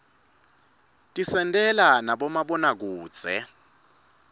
tisentela nabomabonakudze